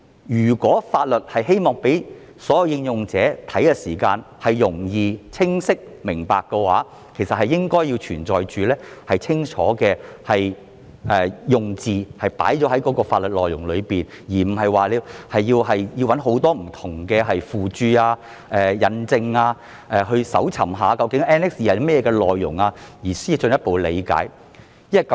如果我們希望讓所有應用者查閱法律時能夠容易和清晰理解的話，便應該將清楚的用字放在法律內容中，而不是要人翻尋很多不同的附註、引證，還要搜尋究竟 Annex II 有甚麼內容後，才能進一步理解有關條文。